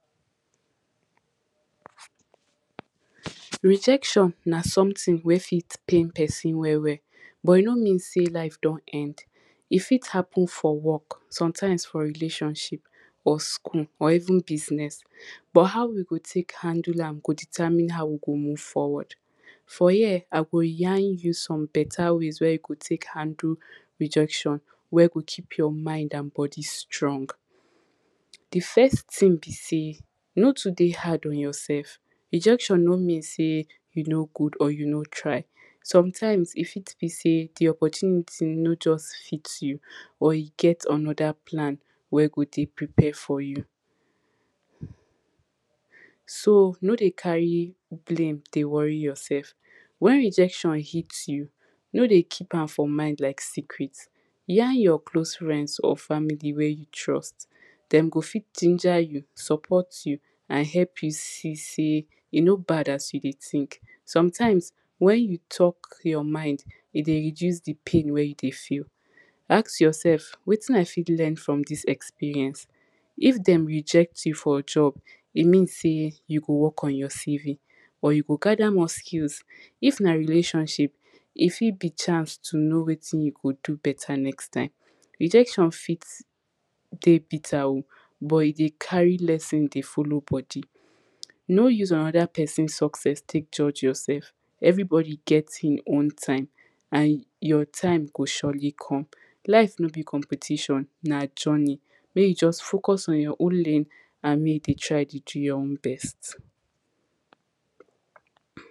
Rejection na something wey fit pain person well well, but e no mean say life don end. E fit happen for work, sometimes for relationship or school or even business. But how you go take handle am go determine how we go move forward. For here I go yarn you some better ways wey you go take handle rejection wey go keep your mind and body strong. The first thing be say, no too dey hard on yourself rejection no mean say you no good or you no try sometimes e fit be say the opportunity no just fit you or e get another plan wey go dey prepare for you. So no dey carry blaim de worry yourself when rejection hit you no de keep am for mind like secret yarn your close friends or family wey you trust. Them go fit ginger you, support you and help you see say e no bad as you de think. Sometimes when you talk your mind e dey reduce de pain wey you dey feel. Ask yourself, watin I fit learn from this experience. If them reject you for a job e mean say you go work on your CV but you go gather more skills if na relationship e fit be chance to know watin you go do better next time. Rejection fit dey bitter o but e dey carry lesson de follow body. No use another person success take judge yourself everybody get hin own time and your time go surely come. Life no be competition na journey may you just focus on your own lane may you just focus on your own lane